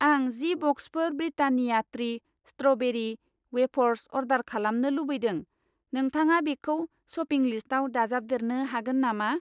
आं जि बक्सफोर Britannia treat strawberry wafers order खालामनो लुबैदों, नोंथाङा बेखौ शपिं लिस्टाव दाजाबदेरनो हागोन नामा?